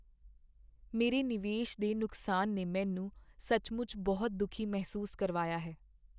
ਮੇਰੇ ਨਿਵੇਸ਼ ਦੇ ਨੁਕਸਾਨ ਨੇ ਮੈਨੂੰ ਸੱਚਮੁੱਚ ਬਹੁਤ ਦੁਖੀ ਮਹਿਸੂਸ ਕਰਵਾਇਆ ਹੈ।